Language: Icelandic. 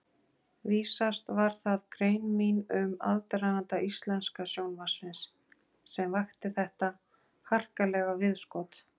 Vísast var það grein mín um aðdraganda íslenska sjónvarpsins, sem vakti þetta harkalega viðskot.